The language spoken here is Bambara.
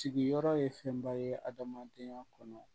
Sigiyɔrɔ ye fɛnba ye hadamadenya kɔnɔ